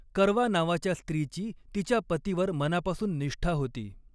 करवा नावाच्या स्त्रीची तिच्या पतीवर मनापासून निष्ठा होती.